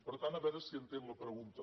per tant a veure si entén la pregunta